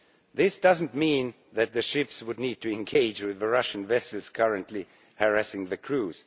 This does not mean that the ships would need to engage with the Russian vessels currently harassing the crews.